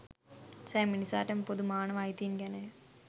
සෑම මිනිසාටම පොදු මානව අයිතීන් ගැනය